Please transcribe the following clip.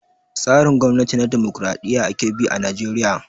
Tsarin gwamnati na dimokraɗiya ake bi a najeriya